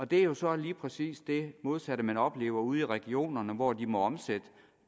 det er jo så lige præcis det modsatte man oplever ude i regionerne hvor de må omsætte